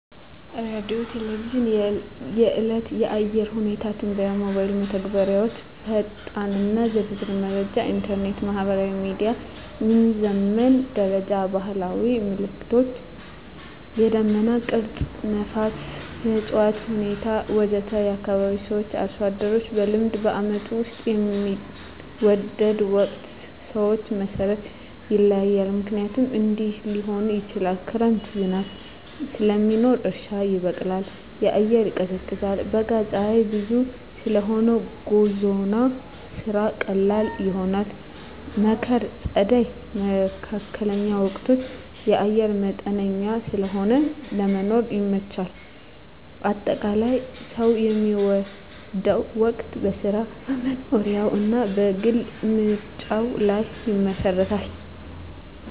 ሬዲዮና ቴሌቪዥን – የዕለት የአየር ሁኔታ ትንበያ ሞባይል መተግበሪያዎች ፈጣንና ዝርዝር መረጃ ኢንተርኔት/ማህበራዊ ሚዲያ – የሚዘመን መረጃ ባህላዊ ምልክቶች – የደመና ቅርጽ፣ ነፋስ፣ የእፅዋት ሁኔታ ወዘተ ከአካባቢ ሰዎች/አርሶ አደሮች – በልምድ በዓመቱ ውስጥ የሚወደው ወቅት ሰዎች መሠረት ይለያያል፣ ምክንያቶቹም እንዲህ ሊሆኑ ይችላሉ፦ ክረምት – ዝናብ ስለሚኖር እርሻ ይበቃል፣ አየር ይቀዝቃዛል። በጋ – ፀሐይ ብዙ ስለሆነ ጉዞና ስራ ቀላል ይሆናል። መከር/ጸደይ (መካከለኛ ወቅቶች) – አየር መጠነኛ ስለሆነ ለመኖር ይመቻቻል። አጠቃላይ፣ ሰው የሚወደው ወቅት በሥራው፣ በመኖሪያው እና በግል ምርጫው ላይ ይመሰረታል።